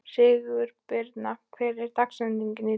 Sigurbirna, hver er dagsetningin í dag?